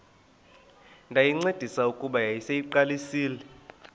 ndayincedisa kuba yayiseyiqalisile